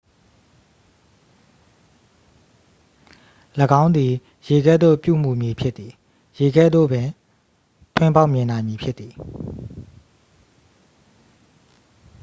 """၎င်းသည်ရေကဲ့သို့ ပြုမူမည်ဖြစ်သည်။ ရေကဲ့သို့ပင် ထွင်းဖောက်မြင်နိုင်မည်ဖြစ်သည်။